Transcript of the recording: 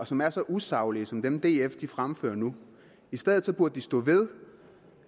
som er så usaglige som dem df fremfører nu i stedet burde de stå ved